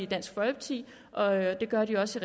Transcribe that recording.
dansk folkeparti og det gør de også